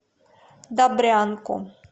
добрянку